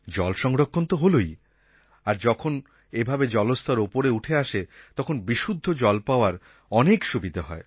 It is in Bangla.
জল সংরক্ষণ তো হলই আর যখন এভাবে জলস্তর ওপরে উঠে আসে তখন বিশুদ্ধ জল পাওয়ার অনেক সুবিধা হয়